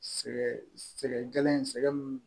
Sɛgɛn sɛgɛ gɛlɛn in sɛgɛn